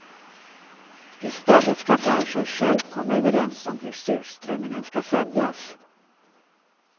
I stället ska branschen själv komma överens om hur surströmmingen ska säljas.